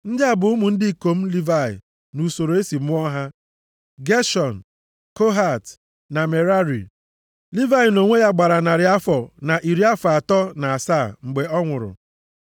+ 6:16 Nʼusoro ọmụmụ a, ọ bụ naanị ndị ikom atọ e buru ụzọ mụọ ka a kpọrọ aha. Mosis na Erọn so na ndị ikom atọ Amram bụ ụzọ mụta. Ndị a bụ ụmụ ndị ikom Livayị nʼusoro e si mụọ ha: Geshọn, Kohat na Merari. Livayị nʼonwe ya gbara narị afọ na iri afọ atọ na asaa mgbe ọ nwụrụ.